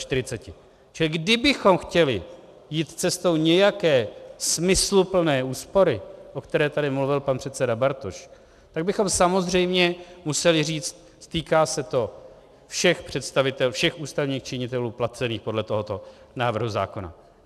Čili kdybychom chtěli jít cestou nějaké smysluplné úspory, o které tady mluvil pan předseda Bartoš, tak bychom samozřejmě museli říct: týká se to všech ústavních činitelů placených podle tohoto návrhu zákona.